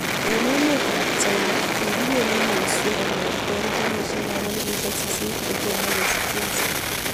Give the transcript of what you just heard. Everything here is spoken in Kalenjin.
Eng emet ap China kikipele muswek kongetkei kenyishek ab 8000 kotomo kesich cheiso